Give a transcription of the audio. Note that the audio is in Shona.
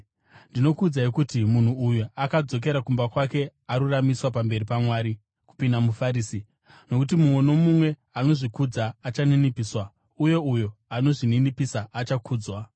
“Ndinokuudzai kuti munhu uyu, akadzokera kumba kwake aruramiswa pamberi paMwari kupinda muFarisi. Nokuti mumwe nomumwe anozvikudza achaninipiswa, uye uyo anozvininipisa achakudzwa.”